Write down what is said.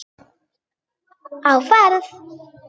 Á ferð